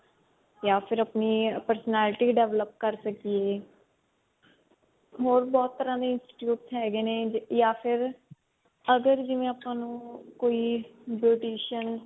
ਜਾ ਫਿਰ ਆਪਣੀ personality develop ਕਰ ਸਕੀਏ ਹੋਰ ਬਹੁਤ ਤਰ੍ਹਾਂ ਦੇ institutes ਹੈਗੇ ਨੇ ਜਾ ਫਿਰ ਅਗਰ ਜਿਵੇਂ ਆਪਾਂ ਨੂੰ ਕੋਈ beautician